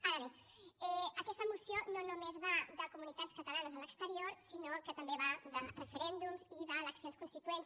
ara bé aquesta moció no només va de comunitats catalanes a l’exterior sinó que també va de referèndums i d’eleccions constituents